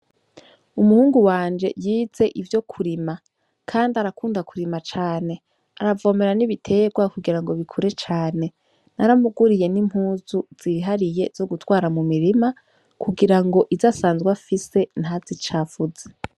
Umuhungu wanje yize ivyo kurima, kandi arakunda kurima cane aravomera nibiterwa kugira ngo bikure cane naramuguriye n'impuzu zihariye zo gutwara mu mirima kugira ngo izo asanzwa fise ntazi icavuze.